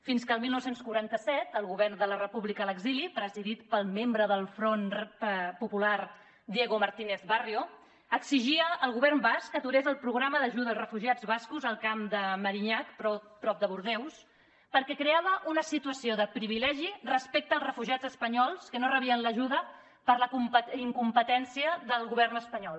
fins que el dinou quaranta set el govern de la república a l’exili presidit pel membre del front popular diego martínez barrio exigia al govern basc que aturés el programa d’ajuda als refugiats bascos al camp de merinhac prop de bordeus perquè creava una situació de privilegi respecte als refugiats espanyols que no rebien l’ajuda per la incompetència del govern espanyol